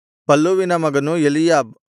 ಪಲ್ಲೂವಿನ ಮಗನು ಎಲೀಯಾಬ್